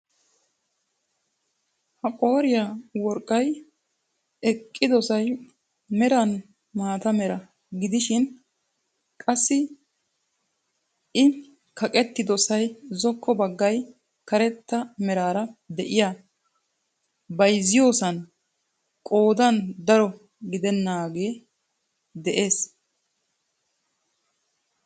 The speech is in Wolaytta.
Ha qooriyaa worqqay eqqidosay meran maata mera gidishin qassi i kaqettidoosay zokko baggay karetta meraara de'iyaa bayzziyoosan qoodan daro gidaagee de'ees.